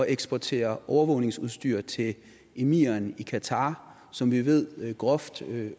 eksportere overvågningsudstyr til emiren i qatar som vi ved groft